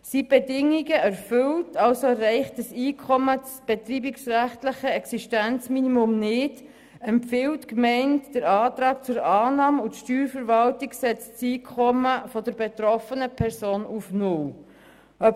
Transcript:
Sind die Bedingungen erfüllt und erreicht das Einkommen das betreibungsrechtliche Existenzminimum nicht, empfiehlt die Gemeinde den Antrag zur Annahme und die Steuerverwaltung setzt das Einkommen der betroffenen Person auf null fest.